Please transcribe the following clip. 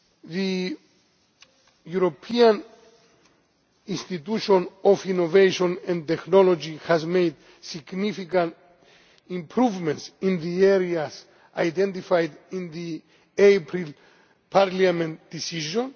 The European Institute of Innovation and Technology has made significant improvements in the areas identified in the April Parliament decision.